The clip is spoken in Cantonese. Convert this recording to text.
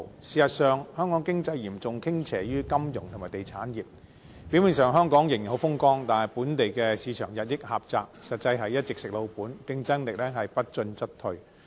事實上，香港經濟嚴重傾斜於金融及地產業，表面上香港仍然很風光，但本地市場日益狹窄，實際是一直"食老本"，競爭力不進則退。